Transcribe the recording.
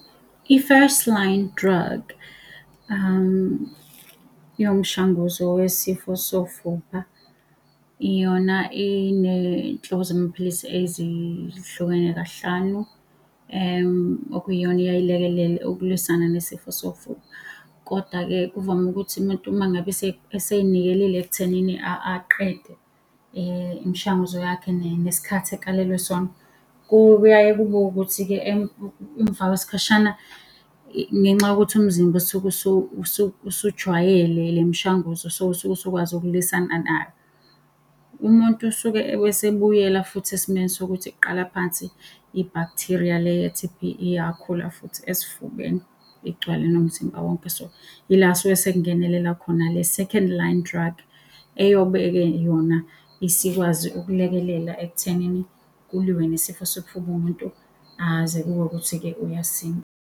I-first-line drug iwumshanguzo wesifo sofuba. Iyona eney'nhlobo zamaphilisi ezihlukene kahlanu, okuyiyona eyaye ilekelele ukulwiswana nesifo sofuba. Koda-ke kuvame ukuthi umuntu uma ngabe esey'nikelile ekuthenini aqede imishanguzo yakhe nesikhathi akalelwe sona, kuyaye kube ukuthi-ke emva kwesikhashana ngenxa yokuthi umzimba usuke usujwayele le mishanguzo, so usuke usukwazi ukulwisana nalo. Umuntu usuke esebuyela futhi esimeni sokuthi kuqala phansi i-bacteria le ye-T_B iyakhula futhi esifubeni igcwale nomzimba wonke, so yila suke sekungenelela khona le second-line drug, eyobe-ke yona isikwazi ukulekelela ekuthenini kuliwe nesifo sofuba, umuntu aze kube ukuthi-ke uyasinda.